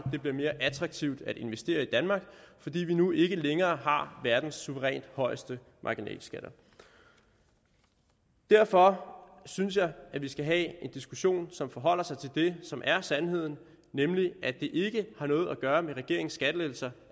vil blive mere attraktivt at investere i danmark fordi vi nu ikke længere har verdens suverænt højeste marginalskatter derfor synes jeg at vi skal have en diskussion som forholder sig til det som er sandheden nemlig at det ikke har noget at gøre med regeringens skattelettelser